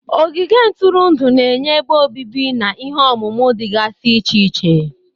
Ogige ntụrụndụ na-enye ebe obibi na ihe omume dịgasị iche iche.